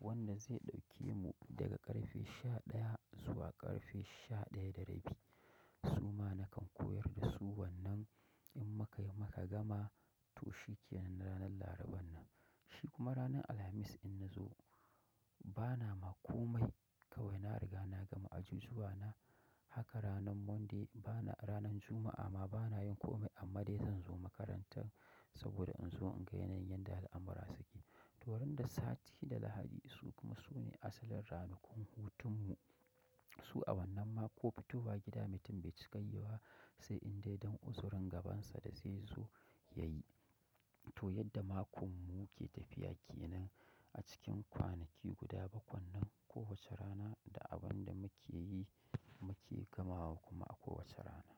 wanda zai ɗauke mu daga ƙarfe sha ɗaya zuwa ƙarfe sha ɗaya da rabi. Na gama nakan koyar da su wannan, in muka gama to shikenan ranar Laraba nan, shikuma rana alhmis in nazo bana ma komai kawai na riga na gama ajijuwa na, haka ranan Monday bana ranan Juma'a ma bana yin komai amma dai zan zo makaranta. Saboda in zo in ga yanayin yadda al'amura suke. To ran da sati da Lahadi, su kuma su ne asalin ranakun hutun mu. Su a wannan ma ko fitowa gida mutum bai cika yiwa, sai in dai don uzurin gabansa da zai zo ya yi. To yadda makon mu yake tafiya ke nan a cikin kwanaki guda bakwai nan, kowace rana da abin da muke yi muke gamawa kuma a kowace rana.